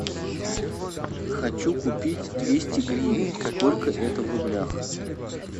хочу купить двести гривен сколько это в рублях